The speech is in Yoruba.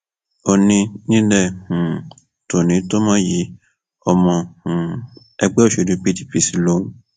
ó ní nílé um tòní tó mọ yìí ọmọ um ẹgbẹ òṣèlú pdp sì lòun